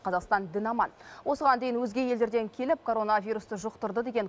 қазақстан дін аман осыған дейін өзге елдерден келіп коронавирусты жұқтырды деген